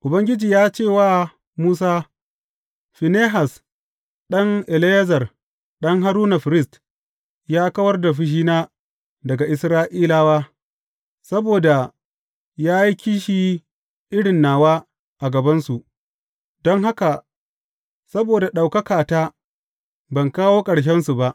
Ubangiji ya ce wa Musa, Finehas ɗan Eleyazar, ɗan Haruna, firist, ya kawar da fushina daga Isra’ilawa; saboda ya yi kishi irin nawa a gabansu, don haka saboda ɗaukakata ban kawo ƙarshensu ba.